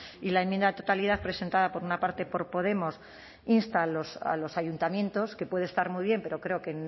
y la enmienda a la totalidad presentada por una parte por podemos insta a los ayuntamientos que puede estar muy bien pero creo que